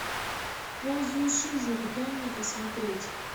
ползающий жук дай мне посмотреть